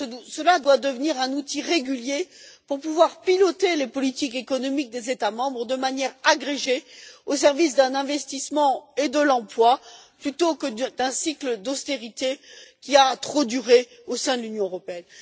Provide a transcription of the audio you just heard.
Cela doit devenir un outil régulier pour pouvoir piloter les politiques économiques des États membres de manière agrégée au service de l'investissement et de l'emploi, plutôt que d'un cycle d'austérité qui a trop duré au sein de l'Union européenne.